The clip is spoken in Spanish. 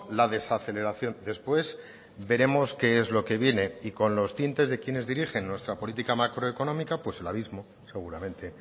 la desaceleración después veremos qué es lo que viene y con los tintes de quienes dirigen nuestra política macroeconómica pues el abismo seguramente